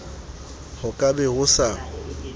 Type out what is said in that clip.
ho ka be ho sa